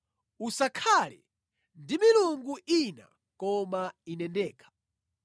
“Usakhale ndi milungu ina koma Ine ndekha.”